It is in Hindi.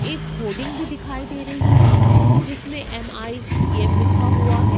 एक होडिंग भी दिखाई दे रही है जिसमे एम_आई_टी_एम लिखा हुआ है।